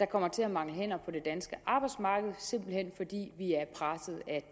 kommer til at mangle hænder på det danske arbejdsmarked simpelt hen fordi